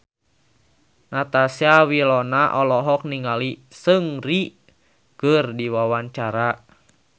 Natasha Wilona olohok ningali Seungri keur diwawancara